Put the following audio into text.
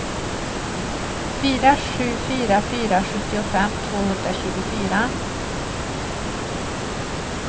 fyra sju fyra fyra sjuttiofem tvåhundratjugofyra